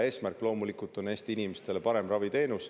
Eesmärk on loomulikult parem raviteenus Eesti inimestele.